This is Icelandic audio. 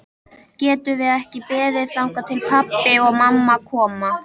Getum við ekki beðið þangað til pabbi og mamma koma?